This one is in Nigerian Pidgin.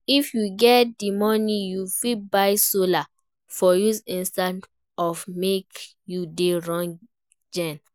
If you get di money, you fit buy solar for use instead of make you dey run gen